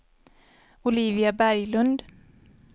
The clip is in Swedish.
Olivia Berglund